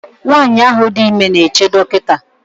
nwanyị ahụ dị ime na-eche dọkịta